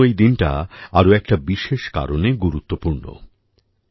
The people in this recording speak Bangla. আমার জন্য এই দিনটা আরও একটা বিশেষ কারণে গুরুত্বপূর্ণ